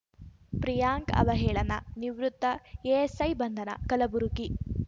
ಪ್ರಿಯಾಂಕ್‌ ಅವಹೇಳನ ನಿವೃತ್ತ ಎಎಸ್‌ಐ ಬಂಧನ ಕಲಬುರಗಿ